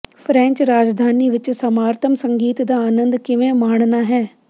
French ਰਾਜਧਾਨੀ ਵਿਚ ਸਮਾਰਤਮ ਸੰਗੀਤ ਦਾ ਆਨੰਦ ਕਿਵੇਂ ਮਾਣਨਾ ਹੈ